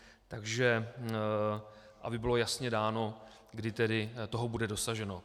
Takže aby bylo jasně dáno, kdy tedy toho bude dosaženo.